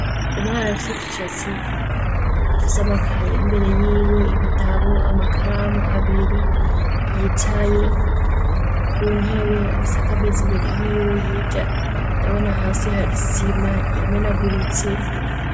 Umwana afise udushatsi afise amakaye imbere yiwe, ibitabo, amakaramu abiri yicaye ku ntebe afise akameza imbere yiwe hirya ndabona hasi hari isima yamenaguritse.